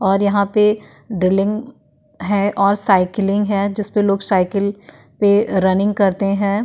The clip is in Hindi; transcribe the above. और यहां पे ड्रिलिंग है और साईकलिंग है जिसपे लोग साईकल पे रनिंग करते हैं ।